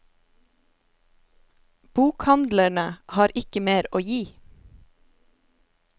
Bokhandlerne har ikke mer å gi.